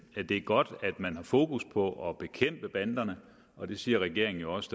er godt at man har fokus på at bekæmpe banderne og det siger regeringen jo også